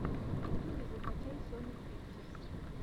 в ютьюбе закачай соню пикчерз